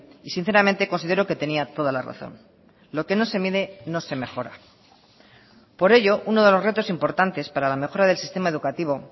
y sinceramente considero que tenía toda la razón lo que no se mide no se mejora por ello uno de los retos importantes para la mejora del sistema educativo